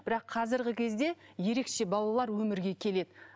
бірақ қазіргі кезде ерекше балалар өмірге келеді